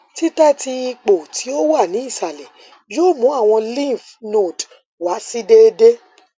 titẹ ti ipo ti o wa ni isalẹ yoo mu awọn lymph node wa si deede